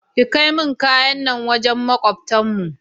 Ki kaimun kayan nan wajen makwabtan mu nace